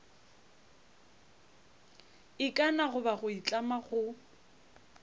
ikana goba go itlama go